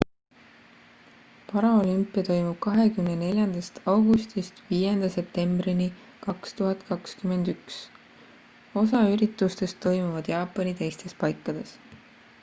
paraolümpia toimub 24 augustist 5 septembrini 2021 osa üritustest toimuvad jaapani teistes paikades